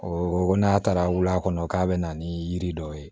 ko n'a taara wul'a kɔnɔ k'a bɛ na ni yiri dɔw ye